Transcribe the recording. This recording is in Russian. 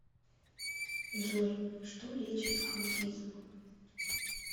джой что лечит аутизм